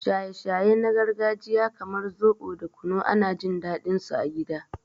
Shaye-shaye na gargajiya kamar zobo da kunu ana jin daɗinsu a gida.